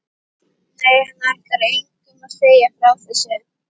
Nei, hann ætlaði engum að segja frá þessu.